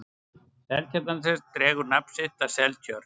seltjarnarnes dregur nafn sitt af seltjörn